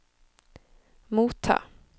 motta